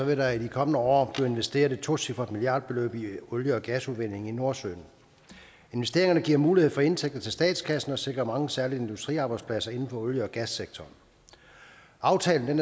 vil der i de kommende år blive investeret et tocifret milliardbeløb i olie og gasudvinding i nordsøen investeringerne giver mulighed for indtægter til statskassen og sikrer mange særlig industriarbejdspladser inden for olie og gassektoren aftalen